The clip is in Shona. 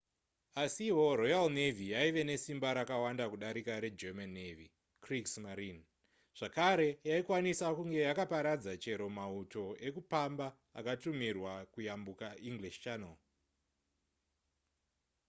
asiwo royal navy yaive nesimba rakawanda kudarika regerman navy kriegsmarine zvakare yaikwanisa kunge yakaparadza chero mauto ekupamba akatumirwa kuyambuka english channel